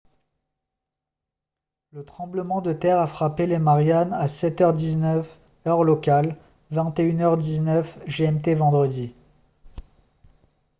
le tremblement de terre a frappé les mariannes à 7 h 19 heure locale 21 h 19 gmt vendredi